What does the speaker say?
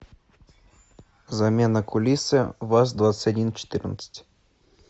замена кулисы ваз двадцать один четырнадцать